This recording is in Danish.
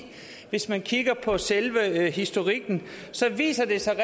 hvis man kigger på selve historikken så viser det sig